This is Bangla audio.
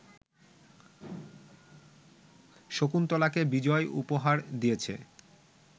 শকুন্তলাকে বিজয় উপহার দিয়েছে